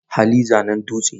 Hali zanen dutse.